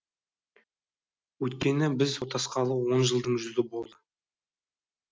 өйткені біз отасқалы он жылдың жүзі болды